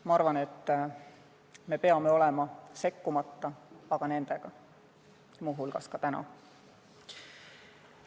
Ma arvan, et me ei tohiks sekkuda, aga peame olema nendega, muu hulgas ka täna.